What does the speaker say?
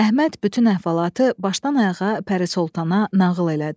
Əhməd bütün əhvalatı başdan ayağa Pəri Soltana nağıl elədi.